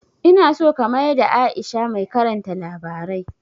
Ina so ka mayada Aisha mai karanta labarai